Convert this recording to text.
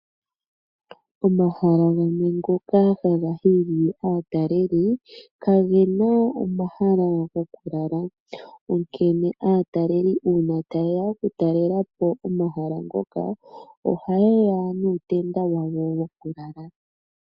Omahala gamwe ngoka haga hili aatalelipo kagena omahala gokulala, onkene aatalelipo uuna taye ya okutalela po omahala ngoka oha ye ya nuutenda wawo wokulala.